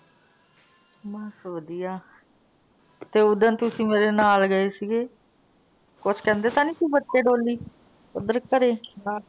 ਬੱਸ ਵਧਿਆ। ਤੇ ਉੱਦਣ ਤੁਸੀਂ ਮੇਰੇ ਨਾਲ ਗਏ ਸੀ ਗੇ, ਕੁਛ ਕਹਿੰਦੇ ਤਾਂ ਨੀ ਸੀ ਬੱਚੇ ਡੌਲੀ ਉੱਦਰ ਘਰੇ? ਨਾ।